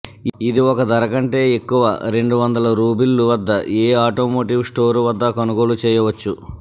ఇది ఒక ధర కంటే ఎక్కువ రెండు వందల రూబిళ్లు వద్ద ఏ ఆటోమోటివ్ స్టోర్ వద్ద కొనుగోలు చేయవచ్చు